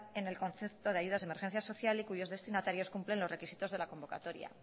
en el concepto de ayudas de emergencia social y cuyos destinatarios cumplen los requisitos de la convocatoria